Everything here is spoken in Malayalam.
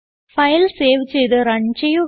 ഫയൽ സേവ് ചെയ്ത് റൺ ചെയ്യുക